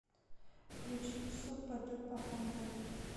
включи супа дупа хамбл